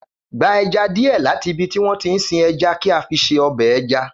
Gba ẹja díẹ̀ láti ibi tí wọ́n tí ń sin ẹja kí a fi ṣe ọbẹ̀ ẹja